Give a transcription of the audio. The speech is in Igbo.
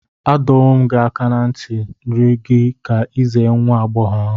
Adọwom aka na nti n'iru gi ka i ize nwa-ab͕ọghọ ahu